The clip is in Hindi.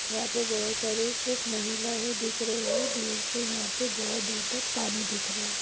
यहा पर बहुत सारी सिर्फ महिला ही दिख रही है दूर से यहा पे बहुत दूर तक पानी दिख रहा है।